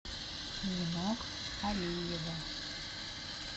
нинок алиева